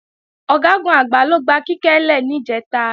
Ọ̀gágun-Àgbá ló gba Kíkẹ́ lè níjẹ̀ta